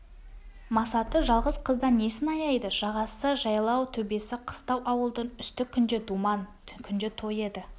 масаты жалғыз қыздан несін аяйды жағасы жайлау төбесі қыстау ауылдың үсті күнде думан күнде той еді